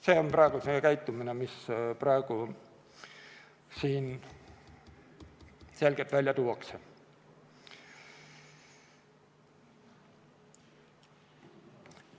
See on see käitumine, mis praegu siin selgelt välja tuuakse.